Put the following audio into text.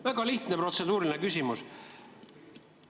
Väga lihtne protseduuriline küsimus.